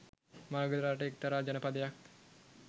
මගධ රට එක්තරා ජනපදයක්